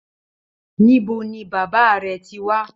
Níbo ní bàbá rẹ tí wá?